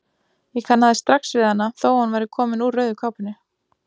Ég kannaðist strax við hana þó að hún væri komin úr rauðu kápunni.